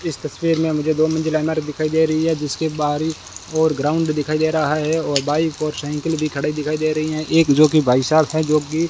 इस तस्वीर में मुझे दो मंजिला इमारत दिखाई दे रही है जिसके बाहरी ओर ग्राउंड दिखाई दे रहा है और बाइक और साइकिल भी खड़े दिखाई दे रही हैं एक जोकि भाई साहब हैं जोकि --